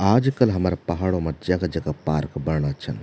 आजकल हमारा पहाड़ों मा जगह-जगह पार्क बणना छन।